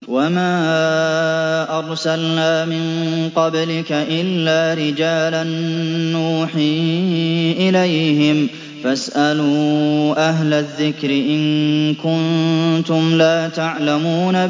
وَمَا أَرْسَلْنَا مِن قَبْلِكَ إِلَّا رِجَالًا نُّوحِي إِلَيْهِمْ ۚ فَاسْأَلُوا أَهْلَ الذِّكْرِ إِن كُنتُمْ لَا تَعْلَمُونَ